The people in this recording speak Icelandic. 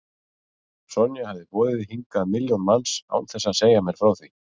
Sonja hafði boðið hingað milljón manns án þess að segja mér frá því.